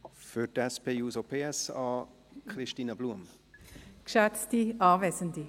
Für die SP-JUSO-PSA-Fraktion: Christine Blum.